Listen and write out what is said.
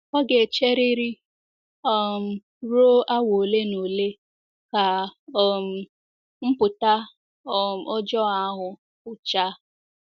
Ọ ga-echeriri um ruo awa ole na ole ka um mpụta um ọjọọ ahụ pụchaa.